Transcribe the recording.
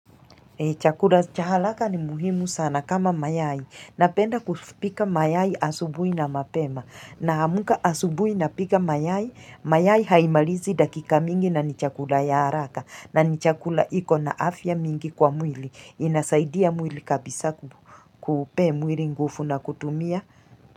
Chakura cha halaka ni muhimu sana kama mayai. Napenda kupika mayai asubui na mapema. Namuka asubui na pika mayai, mayai haimalizi dakika mingi na ni chakura ya haraka. Na ni chakura ikona afya mingi kwa mwili. Inasaidia mwili kabisa kupe mwili ngufu na kutumia.